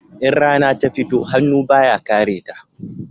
In rana ta fito, hannu ba ya kare ta